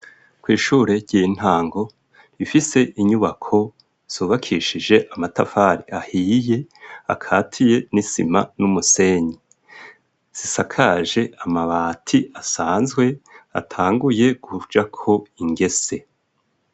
Kw'ishure ry'intango ifise inyubako ryubakishije amatafari ahiye akatiye n'isima n'umusenyi zisakaje amabati asanzwe atanguye kujako ingese.